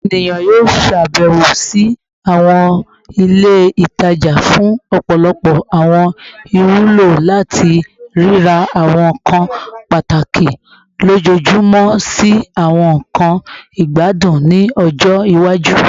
Awọn eniyan yoo ṣabẹwo si awọn ile itaja fun ọpọlọpọ awọn iwulo, lati rira awọn nkan pataki lojoojumọ si awọn nkan igbadun ni ọjọ iwaju